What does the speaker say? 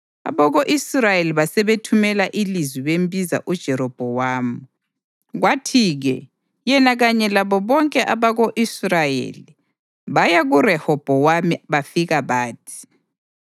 Abako-Israyeli basebethumela ilizwi bembiza uJerobhowamu, kwathi-ke yena kanye labo bonke abako-Israyeli baya kuRehobhowami bafika bathi: